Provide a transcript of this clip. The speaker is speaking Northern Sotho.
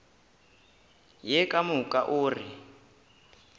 ye ka moka o re